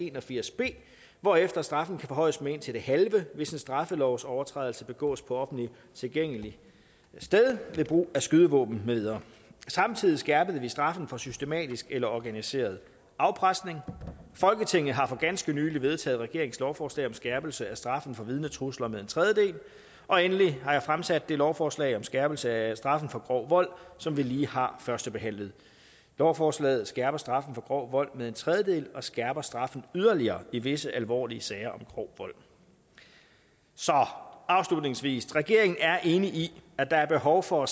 en og firs b hvorefter straffen kan forhøjes med indtil det halve hvis en straffelovsovertrædelse begås på offentligt tilgængeligt sted ved brug af skydevåben med videre samtidig skærpede vi straffene for systematisk eller organiseret afpresning folketinget har for ganske nylig vedtaget regeringens lovforslag om skærpelse af straffen for vidnetrusler med en tredjedel og endelig har jeg fremsat det lovforslag om skærpelse af straffen for grov vold som vi lige har førstebehandlet lovforslaget skærper straffen for grov vold med en tredjedel og skærper straffen yderligere i visse alvorlige sager om grov vold så afslutningsvis regeringen er enig i at der er behov for